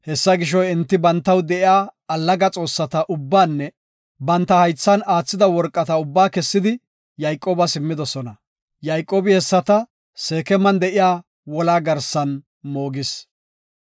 Enti bantaw de7iya allaga xoossata ubbaanne banta haythan aathida worqa ubba kessidi Yayqoobas immidosona. Yayqoobi hessata Seekeman de7iya wolaa garsan moogis.